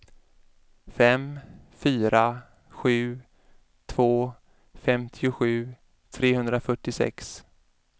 fem fyra sju två femtiosju trehundrafyrtiosex